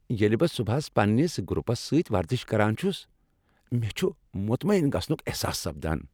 ییٚلہِ بہٕ صبحس پننِس گروپس سۭتۍ ورزش کران چُھس مےٚ چُھ مطمین گژھنک احساس سپدان۔